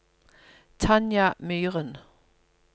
Tanja Myren